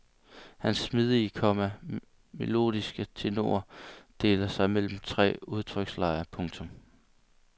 Hans smidige, komma melodiske tenor deler sig mellem tre udtrykslejer. punktum